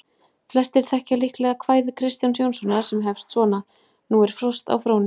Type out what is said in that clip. Flestir þekkja líklega kvæði Kristjáns Jónssonar sem hefst svona: Nú er frost á Fróni,